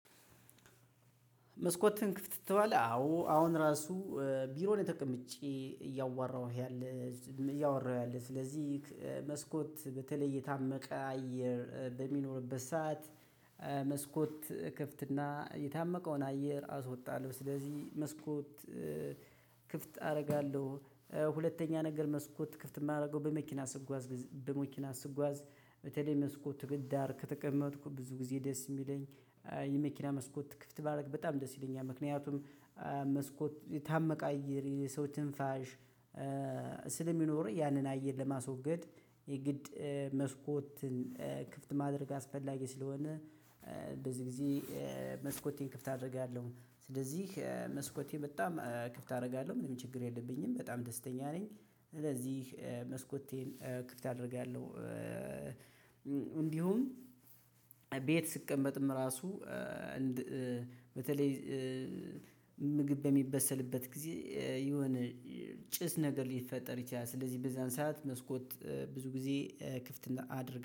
መስኮትህን ክፍት ትተዋለህ? አዎ አሁን ራሱ ቢሮ ላይ ተቀምጬ እያወራሁ ያለሁት ስለዚህ መስኮት በተለይ የታመቀ አየር በሚኖርበት ሰዓት መስኮት እከፍት እና የታመቀውን አየር አወጣለሁ። ስለዚህ መስኮት ክፍት አደርጋለሁ ሁለተኛ ነገር መስኮት ክፍት የማደርገው በመኪና ስጓዝ በመኪና ስጓዝ በተለይ መስኮት ዳር ከተቀመጥኩ ብዙ ጊዜ ደስ የሚለኝ የመኪና መስኮት ክፍት ባደረግ በጣም ደስ ይለኛል። ምክንያቱም መስኮት የታመቀ አየርን የሰው ትንፋሽ ስለሚኖረው ያንን አየር ለማስወገድ የግድ መስኮትን ክፍት ማድረግ አስፈላጊ ስለሆነ በዚህ ጊዜ መስኮቴን ክፍት አደርጋለሁ። ስለዚህ መስኮቴ በጣም ክፍት አደርጋለሁ ምንም ችግር የለብኝም በጣም ደስተኛ ነኝ ስለዚህ መስኮቴን ክፍት አደርጋለሁ። እንዲሁም ቤት ስቀመጥም ራሱ በተለይ ምግብ በሚበሰልበት ጊዜ የሆነ ጭስ ነገር ሊፈጠር ይችላል፤ ስለዚህ በዛን ሰዓት መስኮት ብዙ ጊዜ ክፍት አደርጋለው።